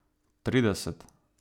Trideset?